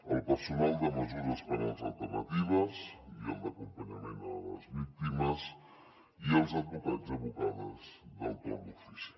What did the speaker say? el personal de mesures penals alternatives i el d’acompanyament a les víctimes i els advocats i advocades del torn d’ofici